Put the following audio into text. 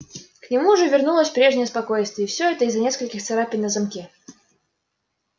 к нему уже вернулось прежнее спокойствие и всё это из-за нескольких царапин на замке